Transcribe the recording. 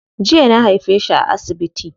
Jiya na haife shi a asibiti.